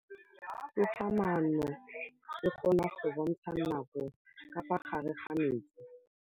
Toga-maanô e, e kgona go bontsha nakô ka fa gare ga metsi.